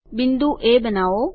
બિંદુ એ બનાઓ